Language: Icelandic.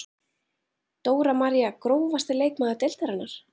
Dóra María Grófasti leikmaður deildarinnar?